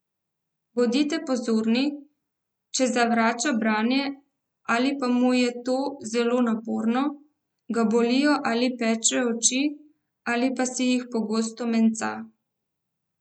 Bodite pozorni, če zavrača branje ali pa mu je to zelo naporno, ga bolijo ali pečejo oči ali pa si jih pogosto menca.